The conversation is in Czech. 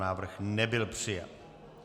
Návrh nebyl přijat.